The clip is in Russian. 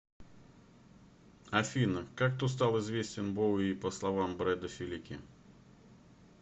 афина как кто стал известен боуи по словам брэда филики